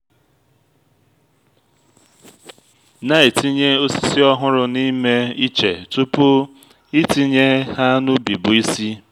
na-etinye osisi ọhụrụ n’ime iche tupu itinye ha n’ubi bụ isi